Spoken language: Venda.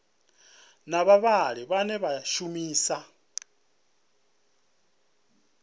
na vhavhali vhane vha shumisa